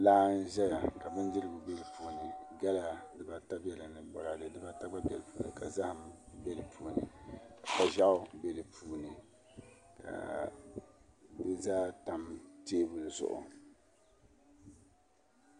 Laa n ʒɛya ka bindirigu bɛ di puuni gala dibata bɛ di puuni ka boraadɛ dibata bɛ di puuni ka zaham bɛ ni kpa ʒiɛɣu bɛ di puuni di zaa tam teebuli zuɣu